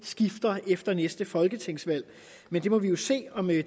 skifter efter næste folketingsvalg men vi må jo se om det